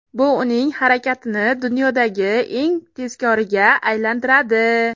Bu uning harakatini dunyodagi eng tezkoriga aylantiradi.